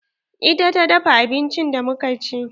Ita ta dafa abincin da mu ka ci?